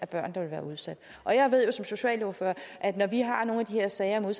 der ville være udsat jeg ved jo som socialordfører at når vi har nogle af de her sager med